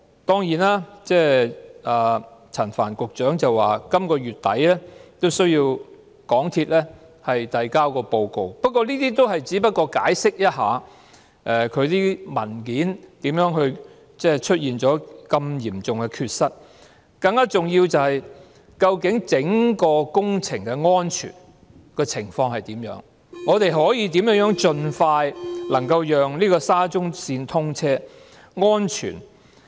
當然，陳帆局長說港鐵公司須在本月底提交報告，不過，這也只不過是解釋其文件為何出現了如此嚴重的缺失吧了，更重要的是，究竟整個工程的安全情況如何、我們可以如何盡快讓沙中線安全通車？